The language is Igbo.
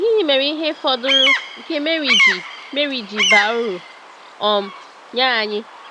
Gịnị mere ihe fọdụrụ nke Màrí ji Màrí ji baa uru um nye anyị?